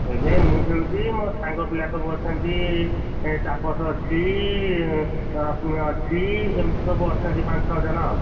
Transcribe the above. ଏବେ ମୁଁ ଖେଳୁଛି, ମୋ ସାଙ୍ଗ ପିଲା ସବୁ ଅଛନ୍ତି, ତାପସ ଅଛି, ରସ୍ମିୟ ଅଛି, ଏମିତି ସବୁ ଅଛନ୍ତି ପାଞ୍ଚ ଛଅ ଜଣ ଆଉ,